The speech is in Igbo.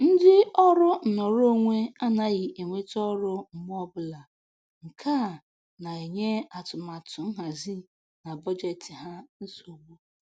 Ndị ọrụ nnọrọonwe anaghị enweta ọrụ mgbe ọbụla, nke a na-enye atụmatụ nhazi na bọjetị ha nsogbu